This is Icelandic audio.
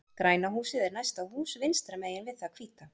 Græna húsið er næsta hús vinstra megin við það hvíta.